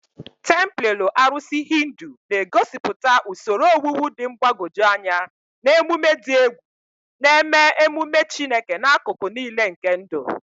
Templelọ arụsị Hindu na-egosipụta usoro owuwu dị mgbagwoju anya na emume dị egwu, na-eme ememe Chineke n'akụkụ niile nke ndụ.